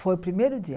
Foi o primeiro dia.